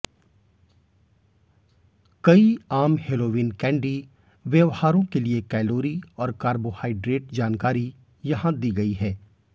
कई आम Halloween candy व्यवहारों के लिए कैलोरी और कार्बोहाइड्रेट जानकारी यहां दी गई है